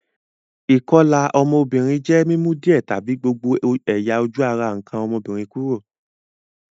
Ìkolà fun ọ́mọ́bìnrin je mi mu díẹ̀ tàbi gbogbo ẹ̀yà-ojú ara nkàn ọ́mọ́bìnrin kúrò.